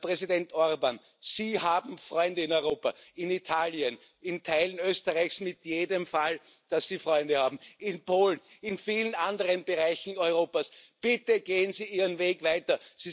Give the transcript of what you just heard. Herr Präsident Orbán, Sie haben Freunde in Europa, in Italien, in Teilen Österreichs in jedem Fall, Sie haben Freunde in Polen, in vielen anderen Bereichen Europas Bitte gehen Sie Ihren Weg weiter!